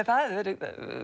það hefði verið